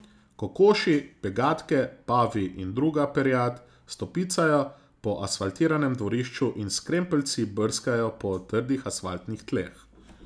Kokoši, pegatke, pavi in druga perjad stopicajo po asfaltiranem dvorišču in s krempeljci brskajo po trdih asfaltnih tleh.